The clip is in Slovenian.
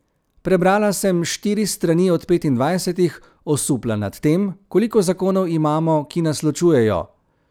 Prebrala sem štiri strani od petindvajsetih, osupla nad tem, koliko zakonov imamo, ki nas ločujejo.